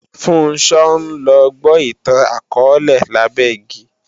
Funṣọ́ ńlọ gbó ìtàn akọọ́lẹ̀ lábẹ́ igi